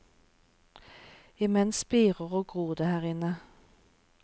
I mens spirer og gror det her inne.